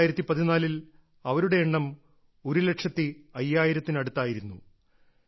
2014ൽ അവരുടെ എണ്ണം ഒരുലക്ഷത്തി അയ്യായിരത്തിനടുത്തായിരുന്നു